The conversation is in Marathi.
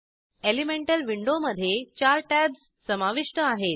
एलिमेंटल विंडोमधे चार टॅब्ज समाविष्ट आहेत